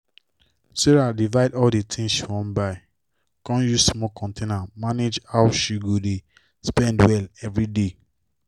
sarah divide all d tins she wan buy con use small container manage how she go dey spend well everyday.